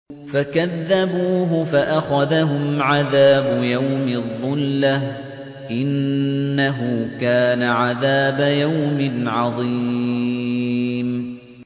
فَكَذَّبُوهُ فَأَخَذَهُمْ عَذَابُ يَوْمِ الظُّلَّةِ ۚ إِنَّهُ كَانَ عَذَابَ يَوْمٍ عَظِيمٍ